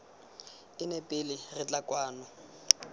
ene pele re tla kwano